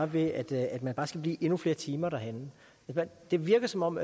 ved at man skal blive endnu flere timer derhenne det virker som om